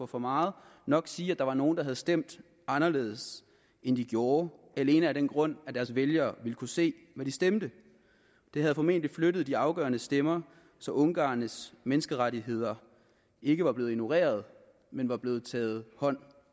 for meget nok sige at der var nogle der havde stemt anderledes end de gjorde alene af den grund at deres vælgere ville kunne se hvad de stemte det havde formentlig flyttet de afgørende stemmer så ungarernes menneskerettigheder ikke var blevet ignoreret men var blevet taget hånd